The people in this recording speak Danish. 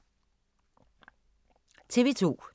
TV 2